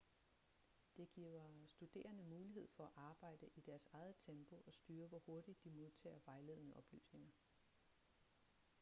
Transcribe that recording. det giver studerende mulighed for at arbejde i deres eget tempo og styre hvor hurtigt de modtager vejledende oplysninger